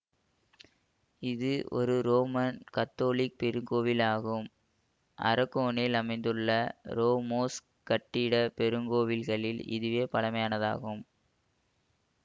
இது ஒரு உரோமன் கத்தோலிக்க பெருங்கோவில் ஆகும் அரகொனில் அமைந்துள்ள ரோமோஸ்க் கட்டிடப் பெருங்கோவில்களில் இதுவே பழமையானதாகும்